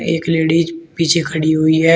एक लेडीज पीछे खड़ी हुई है।